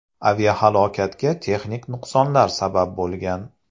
Aviahalokatga texnik nuqsonlar sabab bo‘lgan.